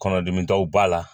Kɔnɔdimi daw b'a la